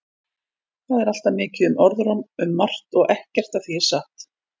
Það er alltaf mikið um orðróm um margt og ekkert af því er satt.